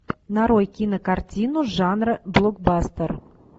нарой кинокартину жанра блокбастер